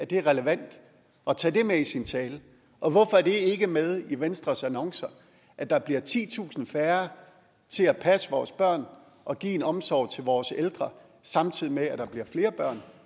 det relevant at tage det med i sin tale og hvorfor er det ikke med i venstres annoncer at der bliver titusind færre til at passe vores børn og give en omsorg til vores ældre samtidig med at der bliver flere børn